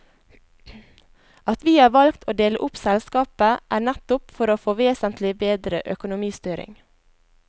At vi har valgt å dele opp selskapet er nettopp for å få vesentlig bedre økonomistyring.